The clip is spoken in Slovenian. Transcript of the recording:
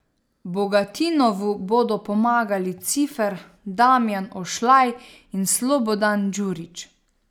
Bogatinovu bodo pomagali Cifer, Damjan Ošlaj in Slobodan Djurić.